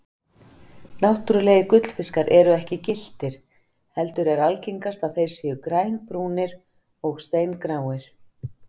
Náttúrulegir gullfiskar eru ekki gylltir heldur er algengast að þeir séu grænbrúnir og steingráir.